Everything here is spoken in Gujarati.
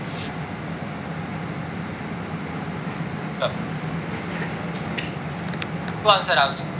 શું answer આવશે